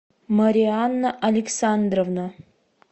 марианна александровна